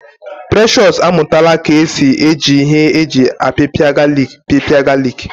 Precious amụtala ka esi eji ihe eji apipia galik pịpịa galik